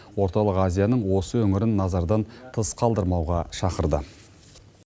орталық азияның осы өңірін назардан тыс қалдырмауға шақырды